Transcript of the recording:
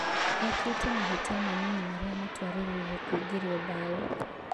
Ekĩte mahĩtia manini marĩa matũarĩrĩire kũingĩrio mbaũ.